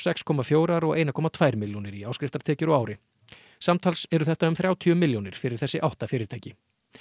sex komma fjórir og einn komma tvær milljónir í áskriftartekjur á ári samtals eru þetta um þrjátíu milljónir fyrir þessi átta fyrirtæki